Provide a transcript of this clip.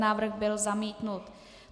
Návrh byl zamítnut.